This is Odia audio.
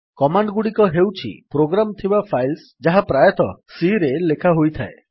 କମାଣ୍ଡଗୁଡିକ ହେଉଛି ପ୍ରୋଗ୍ରାମ ଥିବା ଫାଇଲ୍ସ ଯାହା ପ୍ରାୟତଃ C ରେ ଲେଖା ହୋଇଥାଏ